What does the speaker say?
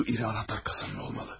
Şu iri anahtar kasanın olmalı.